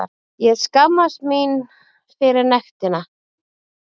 Ég skammast mín fyrir nektina.